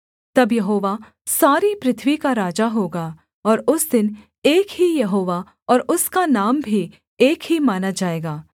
तब यहोवा सारी पृथ्वी का राजा होगा और उस दिन एक ही यहोवा और उसका नाम भी एक ही माना जाएगा